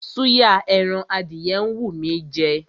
Súyà ẹran adìyẹ ń wú mí í jẹ.